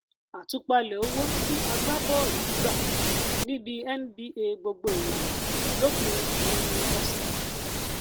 àtúpalẹ owó tí agbábọọlù gba níbi nba gbogbo ìràwọ lópin um ọsẹ